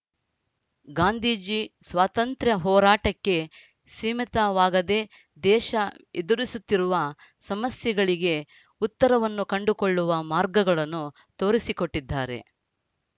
ಗಾಂಧೀಜಿ ಸ್ವಾತಂತ್ರ್ಯ ಹೋರಾಟಕ್ಕೆ ಸೀಮಿತವಾಗದೆ ದೇಶ ಎದುರಿಸುತ್ತಿರುವ ಸಮಸ್ಯೆಗಳಿಗೆ ಉತ್ತರವನ್ನು ಕಂಡುಕೊಳ್ಳುವ ಮಾರ್ಗಗಳನ್ನು ತೋರಿಸಿಕೊಟ್ಟಿದ್ದಾರೆ